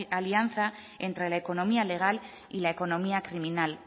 alianza entre la economía legal y la economía criminal